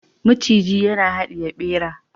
maciji yana hadiye bera